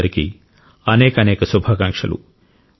మీ అందరికీ అనేకానేక శుభాకాంక్షలు